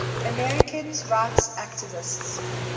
americans rights activists